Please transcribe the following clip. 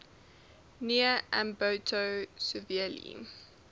near ambato severely